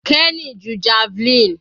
Kenny ju javelin.